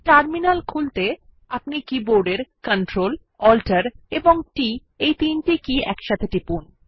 terminal খুলতে আপনার কী বোর্ডের Ctrl Alt এবং t কী তিনটি একসাথে টিপুন